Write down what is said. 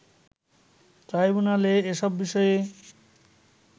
ট্রাইব্যুনালে এসব বিষয়ে